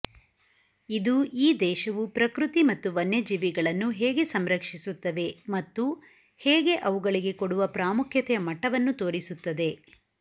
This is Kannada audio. ಇದು ಈ ದೇಶವು ಪ್ರಕೃತಿ ಮತ್ತು ವನ್ಯಜೀವಿಗಳನ್ನು ಹೇಗೆ ಸಂರಕ್ಷಿಸುತ್ತವೆ ಮತ್ತು ಹೇಗೆ ಅವುಗಳಿಗೆ ಕೊಡುವ ಪ್ರಾಮುಖ್ಯತೆಯ ಮಟ್ಟವನ್ನು ತೋರಿಸುತ್ತದೆ